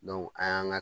an y'an ka